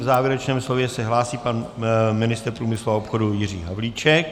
K závěrečnému slovu se hlásí pan ministr průmyslu a obchodu Jiří Havlíček.